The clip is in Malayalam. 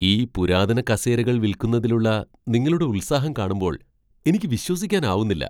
ഈ പുരാതന കസേരകൾ വിൽക്കുന്നതിലുള്ള നിങ്ങളുടെ ഉത്സാഹം കാണുമ്പോൾ എനിക്ക് വിശ്വസിക്കാനാവുന്നില്ല.